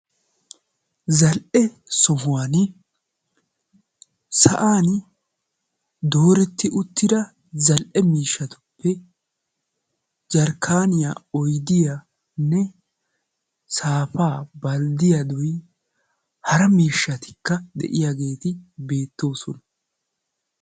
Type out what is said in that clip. zal77e sohuwan sa7an dooretti uttida zal77e miishshatuppe jarkkaaniyaa, oydiyaanne saafaa balddiyaa hara miishshatikka de7iyaageeti beettoosona.